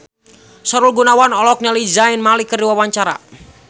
Sahrul Gunawan olohok ningali Zayn Malik keur diwawancara